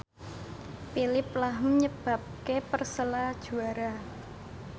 Phillip lahm nyebabke Persela juara